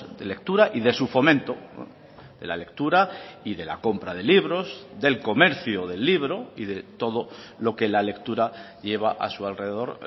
de lectura y de su fomento de la lectura y de la compra de libros del comercio del libro y de todo lo que la lectura lleva a su alrededor